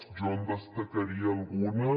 jo en destacaria alguns